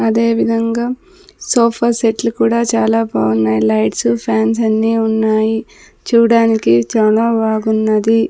అదేవిధంగా సోఫాసెట్లు కూడా చాలా బావున్నాయ్ లైట్సు ఫ్యాన్స్ అన్నీ ఉన్నాయి చూడ్డానికి చాలా బాగున్నది.